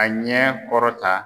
A ɲɛ kɔrɔ ta.